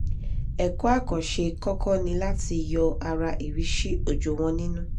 ẹ̀kọ́ àkànṣe kọ́kọ́ ni láti yọ ara ìríṣì òjò wọ́n nínú